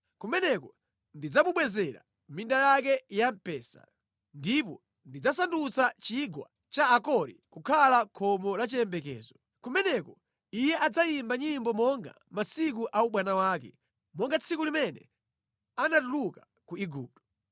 Kumeneko ndidzamubwezera minda yake ya mpesa, ndipo ndidzasandutsa Chigwa cha Akori kukhala khomo la chiyembekezo. Kumeneko iye adzayimba nyimbo monga mʼmasiku a ubwana wake, monga tsiku limene anatuluka ku Igupto.